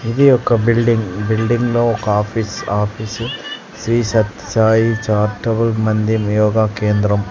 ఇది ఒక బిల్డింగ్ ఈ బిల్డింగ్లో ఒక ఆఫీస్ ఆ ఆఫీసు శ్రీ సత్య సాయి చారిటబుల్ మందిన్ యోగా కేంద్రం.